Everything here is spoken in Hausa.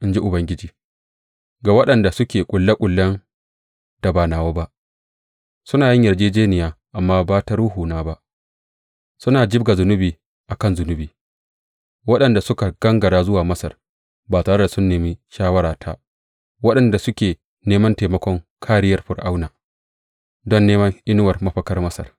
in ji Ubangiji, ga waɗanda suke ƙulle ƙullen da ba nawa ba, suna yin yarjejjeniya, amma ba ta Ruhuna ba, suna jibga zunubi a kan zunubi; waɗanda suka gangara zuwa Masar ba tare da sun nemi shawarata; waɗanda suke neman taimakon kāriyar Fir’auna, don neman inuwar mafakar Masar.